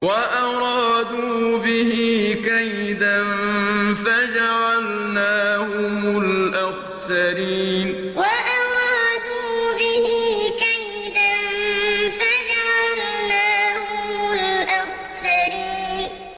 وَأَرَادُوا بِهِ كَيْدًا فَجَعَلْنَاهُمُ الْأَخْسَرِينَ وَأَرَادُوا بِهِ كَيْدًا فَجَعَلْنَاهُمُ الْأَخْسَرِينَ